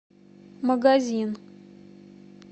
магазин